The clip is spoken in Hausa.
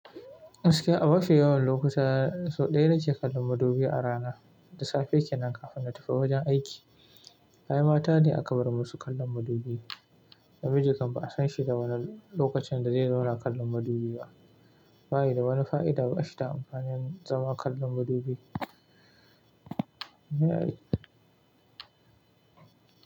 Gaskiya a mafi yawan lokuta, sau ɗaya na ke kallon madubi a rana, da safe kenan kafin na tafi wajen aiki. Ayi mata ne aka bar musu kallon madubi, namiji kam ba'a san shi da wani lokacin da zai zauna kallon madubi ba. Ba yi da wani fa'ida ba shi da amfani zama kallon madubi.